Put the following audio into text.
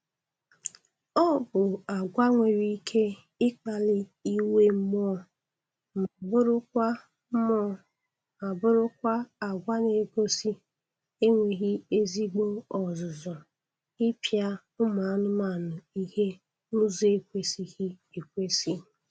Ọ bụ agwa nwere ike ịkpali iwe mmụọ ma bụrụkwa mmụọ ma bụrụkwa agwa na-egosi enweghị ezigbo ọzụzụ ịpịa ụmụ anụmanụ ihe n'ụzọ ekwesịghị ekwesị